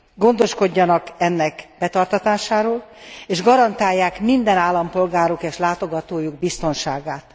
Gondoskodjanak ennek betartatásáról, és garantálják minden állampolgáruk és látogatójuk biztonságát.